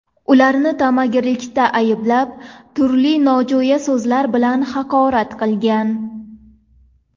Ularni tamagirlikda ayblab, turli nojo‘ya so‘zlar bilan haqorat qilgan.